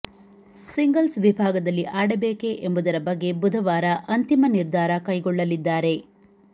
singles ವಿಭಾಗದಲ್ಲಿ ಆಡಬೇಕೇ ಎಂಬುದರ ಬಗ್ಗೆ ಬುಧವಾರ ಅಂತಿಮ ನಿರ್ಧಾರ ಕೈಗೊಳ್ಳ ಲಿದ್ದಾರೆ